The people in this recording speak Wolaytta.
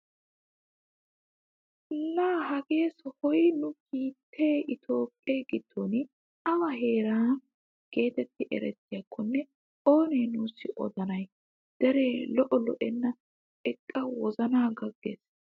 Laa hagee sohoy nu biittee itoophphee giddon awa heeraa getetti erettiyaakonne oonee nusi odanay! deree lo"o lo"ena eqqa wozanaa gaggees!